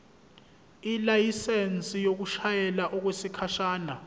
ilayisensi yokushayela okwesikhashana